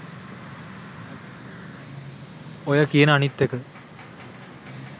ඔය කියන අනිත් එක